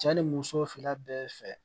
Cɛ ni muso fila bɛɛ fɛ